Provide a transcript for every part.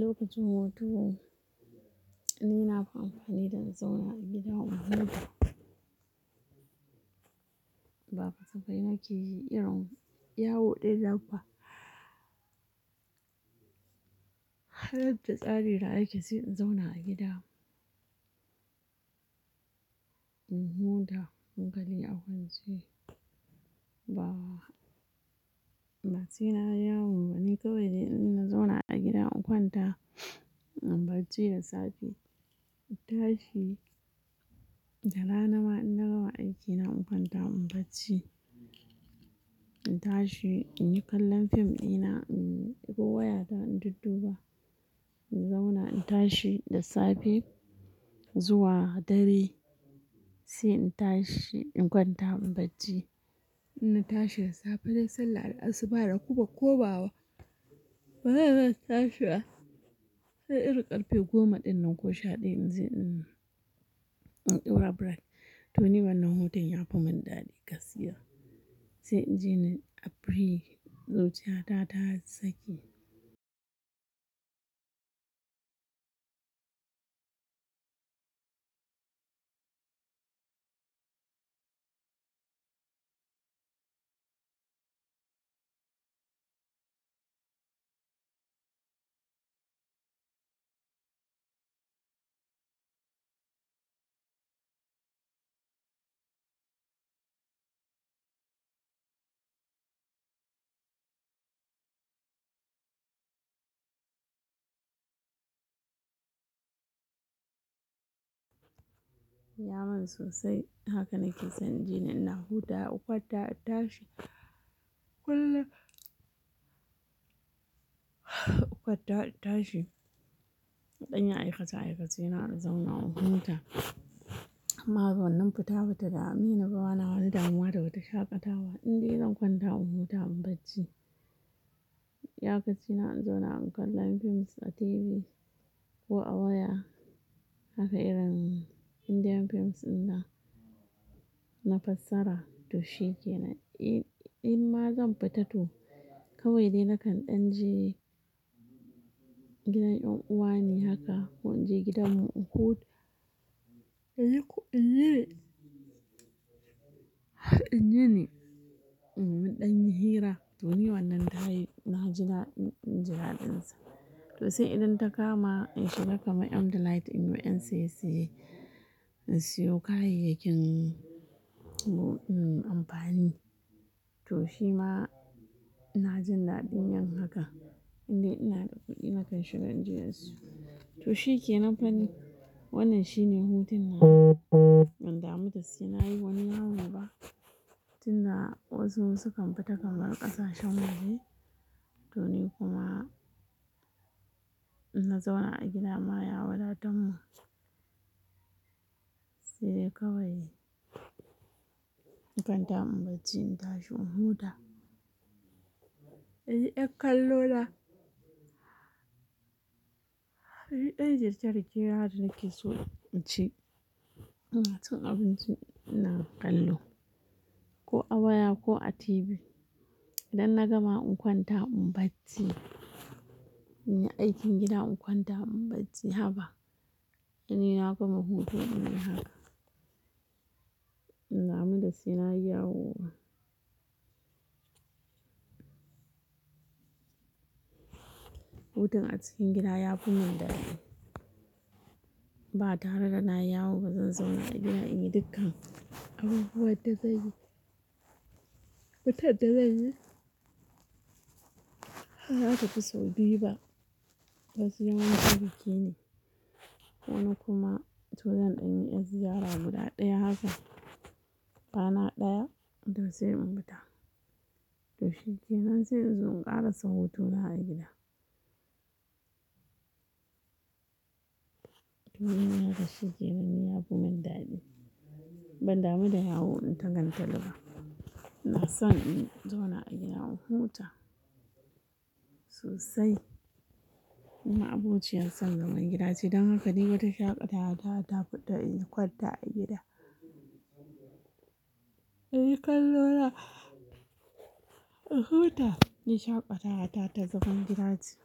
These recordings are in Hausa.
Lokacin hutu ni na fi amfani da na zauna a gida in huta. Ba kasafai nake yi irin yawo ɗinnan ba. Har da tsari da ake sai in zauna a gida in huta. Hankali a kwance, ba, ba sai na yi yawo ba. Ni kawai dai in na zauna a gida in kwanta, in bacci da safe. Tashi, da rana ma in na gama aiki na in kwanta in barci. In tashi in yi kallon fim ɗina, in ɗebo wayata in dudduba. In zauna in tashi da safe zuwa dare sai in tashi in kwanta in bacci. In na tashi da safe nai sallar asuba na kuma komawa. Sai in tashi sai irin ƙarfe goma ɗin nan ko sha ɗaya in je in ɗaura break. To ni wannan hutun ya fi mun dadi gaskiya. Sai in ji ni a free, zuciya ta ta sake ya mun sosai haka nake son in ji ni ina hutawa, in kwanta, in tashi. Kullun in kwanta in tashi. In dan yi aikace-aikace na in zauna in huta. Ma wannan fita ba ta dameni, ba na wani damuwa da wata shaƙatawa. Indai zan kwanta in huta in barci. Iyakaci na in zauna in kallon films a TV ko a waya. Haka irin Indian films in nan, na fassara. To shi kenan. In ma zan fita to, kawai dai nakan ɗan je gidan ƴan'uwa ne haka ko in je gidan mu in huta. Inyi ko in yini. Har in yini, in mun ɗan yi hira. To ni wannan tayi, na ji daɗin, ji daɗinsa. To sai idan ta kama in shiga kamar M-Delite in yo yan siye-siye, in siyo kayayyakin amfani. To shi ma ina jin daɗin yin haka. Indai ina da kuɗi nakan shiga in je in siyo. To shi kenan fa ni. Wannan shine hutun nawa, ban damu da sai na yi wani yawo ba. Tun da wasu su kan fita kamar ƙasashen waje to ni kuma in na zauna a gida ma ya wadatar mun. Sai dai kawai in kwanta in bacci in tashi in huta. Inyi yar kallo na. Inyi ɗan girke-girke na da nake so in ci. Ina cin abinci ina kallo ko a waya ko a TV. Idan na gama in kwanta in bacci. In yi aikin gida in kwanta in barci. Haba to ni na gama hutu in nai haka. Ban damu da sai na yi yawo ba. Hutun a cikin gida ya fi mun dadi. Ba tare da na yi yawo ba zan zauna a gida in yi dukkan abubuwan da zanyi. Wutar da zanyi. Haka tafi sau biyu ba. To sai wani lokaci ne. Wani kuma to zan ɗan yi yar ziyara guda ɗaya haka. Rana ɗaya to sai in fita. To shi ke nan sai in zo in ƙarasa hutuna a gida. To in nai haka shi kenan ni ya fi mun dadi. Ban damu da yawo in ta gantali ba. Ina san in zauna a gida in huta sosai. Ni ma abociyar son zaman gida ce don haka dai wata shaƙatawa ta ta fiɗa in yi kwanta a gida. Inyi kallo na, in huta. Ni shaƙatawa ta ta zaman gida ce.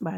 Ba dai.